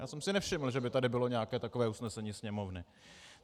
Já jsem si nevšiml, že by tady bylo nějaké takové usnesení Sněmovny.